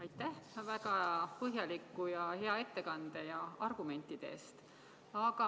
Aitäh väga põhjaliku ja hea ettekande ja argumentide eest!